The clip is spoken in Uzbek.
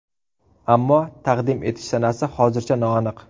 Ammo taqdim etish sanasi hozircha noaniq.